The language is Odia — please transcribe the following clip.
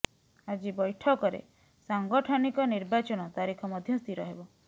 ଆଜି ବୈଠକରେ ସାଙ୍ଗଠନିକ ନିର୍ବାଚନ ତାରିଖ ମଧ୍ୟ ସ୍ଥିର ହେବ